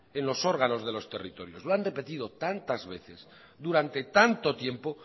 en los órganos de los territorios lo han repetido tantas veces durante tanto tiempo